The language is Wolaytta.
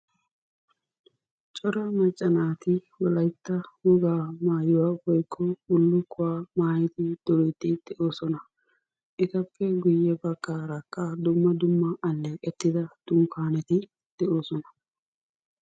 Cora maccaa naati wolaytta wogaa maayuwa woykko bullukuwaa maayyid duriddi de'oosona; etappe guyye baggarakka dumma dumma aleeqetida dunkkaneti de'oosona.